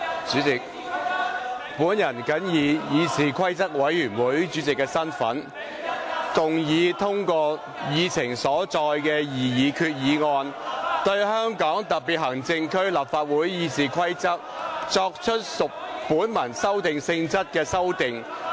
主席，本人謹以議事規則委員會主席的身份，動議通過議程所載的擬議決議案，對香港特別行政區立法會《議事規則》，作出屬本文修訂性質的修訂。